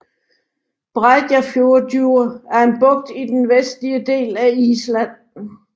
Breiðafjörður er en bugt i den nordvestlige del af Island